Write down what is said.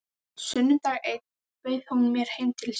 Sunnudag einn bauð hún mér heim til sín.